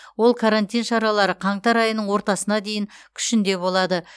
ол карантин шаралары қаңтар айының ортасына дейін күшінде болады